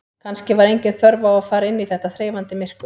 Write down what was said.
Kannski var engin þörf á að fara inn í þetta þreifandi myrkur.